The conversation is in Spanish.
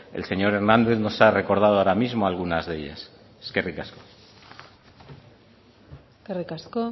el señor hernández nos ha recordado ahora mismo algunas de ellas eskerrik asko eskerrik asko